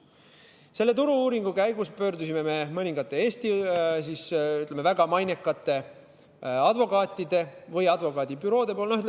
Selle turu-uuringu käigus me pöördusime mõningate Eesti väga mainekate advokaatide või advokaadibüroode poole.